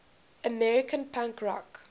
american punk rock